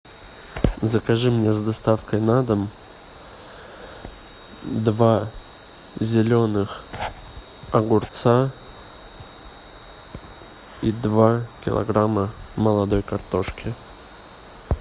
закажи мне с доставкой на дом два зеленых огурца и два килограмма молодой картошки